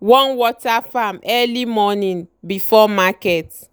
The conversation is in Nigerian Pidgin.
wan water farm early morning before market.